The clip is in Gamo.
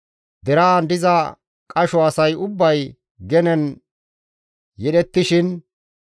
Deraan diza qasho asay ubbay genen yedhettishin,